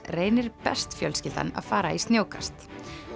reynir best fjölskyldan að fara í snjókast